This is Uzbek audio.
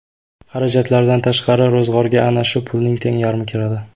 Xarajatlardan tashqari, ro‘zg‘orga ana shu pulning teng yarmi kiradi.